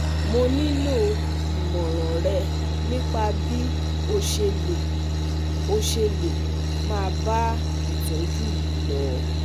mo nílò ìmọ̀ràn rẹ nípa bí o ṣe lè o ṣe lè máa bá ìtọ́jú yìí lọ